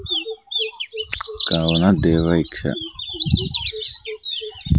కావున దివైక్ష --